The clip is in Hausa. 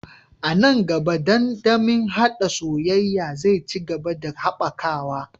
A nan gaba, dandamalin haɗa soyayya zai ci gaba da haɓakawa